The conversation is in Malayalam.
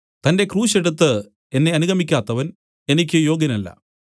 തന്റെ ക്രൂശ് എടുത്തു എന്നെ അനുഗമിക്കാത്തവൻ എനിക്ക് യോഗ്യനല്ല